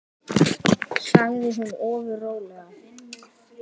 sagði hún ofur rólega.